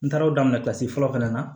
N taara o daminɛ kilasi fɔlɔ na